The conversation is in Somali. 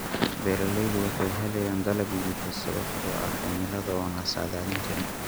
Beeraleydu waxay helayaan dalag liita sababtoo ah cimilada oo aan la saadaalin karin.